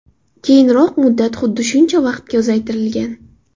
Keyinroq muddat xuddi shuncha vaqtga uzaytirilgan.